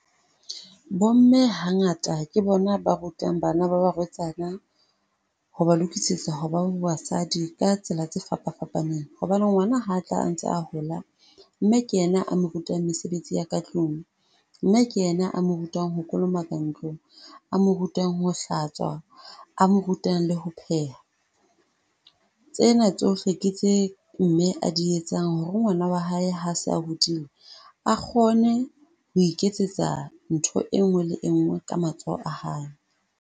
Bo mme hangata ke bona ba rutang bana ba barwetsana ho ba lokisetsa ho ba basadi ka tsela tse fapa fapaneng. Hobane ngwana ha a ntse a hola, mme ke yena a mo rutang mesebetsi ya ka tlung. Mme ke yena a mo rutang ho kolomaka ntlo, a mo rutang ho hlatswa, a mo rutang le ho pheha. Tsena tsohle tse mme a di etsang hore ngwana wa hae ha a se a hodile, a kgone ho iketsetsa ntho enngwe le enngwe ka matsoho a hae.